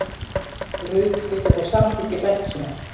Rut vildi fá samþykki frænku sinnar